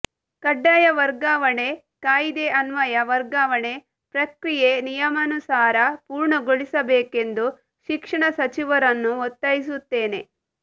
ಕಡ್ಡಾಯ ವರ್ಗಾವಣೆ ಕಾಯಿದೆ ಅನ್ವಯ ವರ್ಗಾವಣೆ ಪ್ರಕ್ರಿಯೇ ನಿಯಮಾನುಸಾರ ಪೂರ್ಣಗೊಳಿಸಬೇಕೆಂದು ಶಿಕ್ಷಣಸಚಿವರನ್ನು ಒತ್ತಾಯಿಸುತ್ತೇನೆ